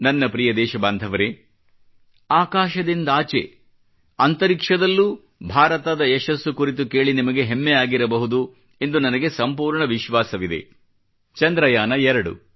ನನ್ನ ಪ್ರಿಯ ದೇಶಬಾಂಧವರೇ ಆಕಾಶದಿಂದಾಚೆ ಅಂತರಿಕ್ಷದಲ್ಲೂ ಭಾರತದ ಯಶಸ್ಸು ಕುರಿತು ಕೇಳಿ ನಿಮಗೆ ಹೆಮ್ಮೆ ಆಗಿರಬಹುದು ಎಂದು ನನಗೆ ಸಂಪೂರ್ಣ ವಿಶ್ವಾಸವಿದೆ ಚಂದ್ರಯಾನ ಎರಡು